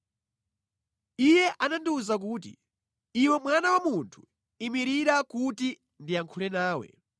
Iye anandiwuza kuti, “Iwe mwana wa munthu, imirira kuti ndiyankhule nawe.”